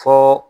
Fo